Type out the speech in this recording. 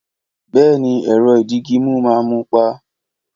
Bèéní, èrõ ìdígímú má mu pá